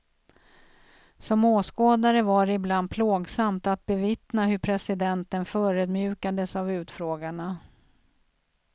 Som åskådare var det ibland plågsamt att bevittna hur presidenten förödmjukades av utfrågarna.